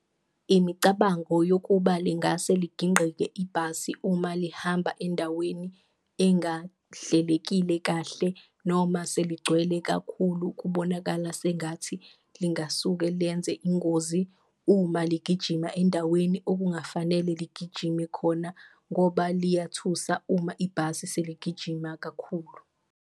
Imicabango yokuba lingase ligingqike ibhasi uma lihamba endaweni engahlelekile kahle noma seligcwele kakhulu, kubonakala sengathi lingasuke liyenze ingozi uma ligijima endaweni okungafanele ligijime khona ngoba liyathusa uma ibhasi seligijima kakhulu.